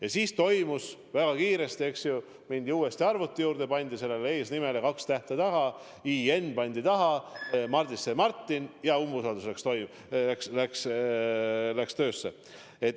Ja edasi toimus kõik väga kiiresti, eks ju: mindi uuesti arvuti juurde, pandi sellele eesnimele kaks tähte taha – "i" ja "n" pandi taha, Mardist sai Martin, ja umbusaldusavaldus läks töösse.